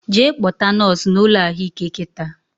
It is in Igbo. Jee kpọta nọsụ na ụlọ ahụike kịta!